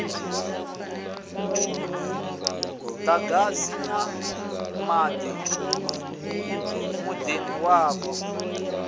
muḓagasi na maḓi muḓini wavho